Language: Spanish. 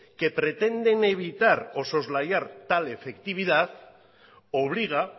que pretenden evitar o soslayar tal efectividad obliga